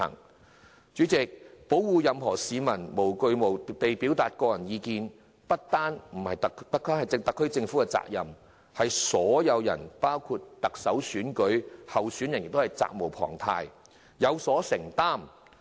代理主席，保護任何市民無畏無懼地表達個人意見，不單是特區政府的責任，所有人包括特首候選人亦責無旁貸，有所承擔。